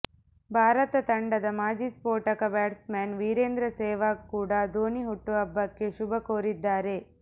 ಭಾರತ ತಂಡದ ಮಾಜಿ ಸ್ಫೋಟಕ ಬ್ಯಾಟ್ಸ್ಮನ್ ವಿರೇಂದ್ರ ಸೆಹ್ವಾಗ್ ಕೂಡ ಧೋನಿ ಹುಟ್ಟುಹಬ್ಬಕ್ಕೆ ಶುಭಕೋರಿದ್ದಾರೆ